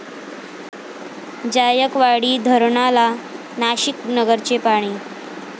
जायकवाडी धरणाला नाशिक, नगरचे पाणी